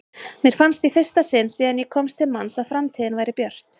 Mér fannst í fyrsta sinn síðan ég komst til manns að framtíðin væri björt.